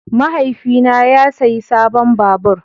Mahaifina ya sayi sabon babur.